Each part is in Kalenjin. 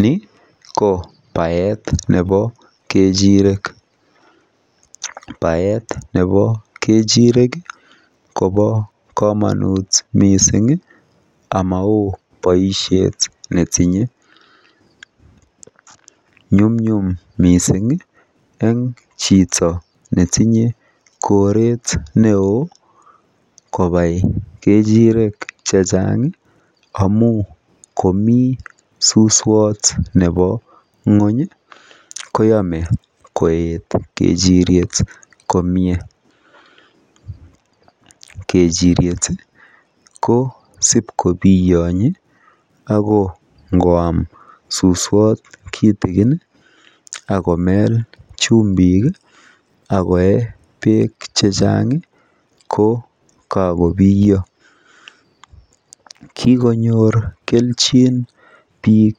ni ko baeet nebo kechirek, baeet nebo kechirek kobo komonuut mising amaoo boishet netinye, nyumnyum mising iih en chito netinye koreet neoo kobai kechirek chanchang iih amuuun komii suswoot nebo nwony iih koame koet kechiryet komyee, kechiryet ko siib kobiyonye ago ngwaam suswoot kitigin iih ak komeel chumbik iih ak koee beek chechang iih ko kagobiyo, kigonyoor kelchin biik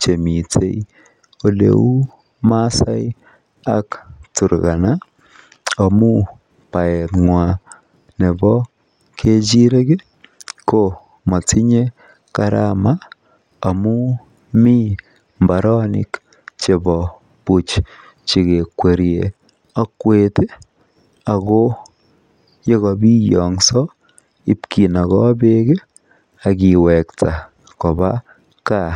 chemiten eleuu masaek ak turkana amuun baeet nywaan nebo kechirek iih komotinye karama amuun mii mbaronik chebo buuch chegekweryee okweet iih ago yegobiongso ibkinogoo beek iih ak kiwokto kobaa gaa.